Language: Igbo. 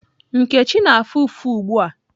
Nkechi na-afụ ụfụ ugbu a.